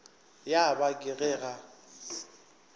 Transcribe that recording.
ya ba ke ge a